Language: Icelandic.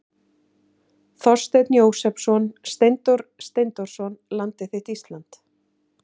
Þorsteinn Jósepsson, Steindór Steindórsson, Landið þitt Ísland.